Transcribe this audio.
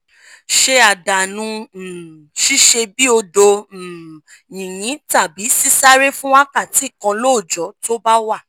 ṣe àdánù um ṣíṣe bíi odo um yinyin tàbí sisáré fún wákàtí kan lóòjó tó bá wà